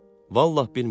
Vallah bilmirəm.